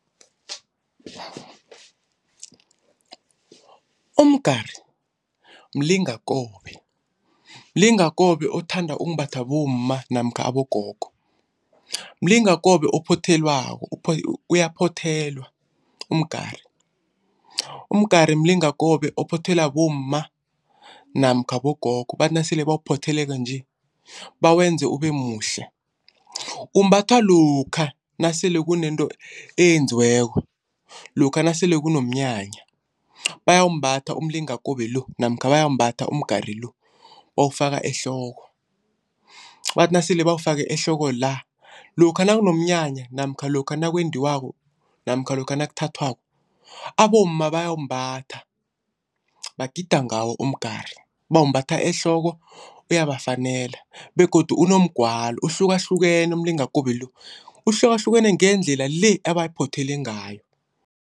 Umgari mlingakobe, mlingakobe othanda ukumbathwa bomma namkha abogogo. Mlingakobe ophothelwako uyaphothelwa umgari. Umgari mlingakobe ophothelwa bomma namkha bogogo bathi nasele bawuphotheleko nje bawenze ube muhle. Umbathwa lokha nasele kunento eyenziweko, lokha nasele kunomnyanya. Bayawumbatha umlingakobe lo namkha bayawumbatha umgari lo bawufaka ehloko bathi nasele bawufake ehloko la. Lokha nakunomnyanya namkha lokha nakwendiwako namkha lokha nakuthathwako abomma bayawumbatha bagida ngawo umgari. Bawumbatha ehloko, uyabafanela begodu unomgwalo. Uhlukahlukene umlingakobe lo, uhlukahlukene ngendlela ebawuphothele ngawo.